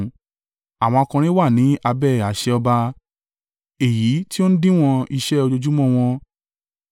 Àwọn akọrin wà ní abẹ́ àṣẹ ọba, èyí tí ó n díwọ̀n iṣẹ́ ojoojúmọ́ wọn.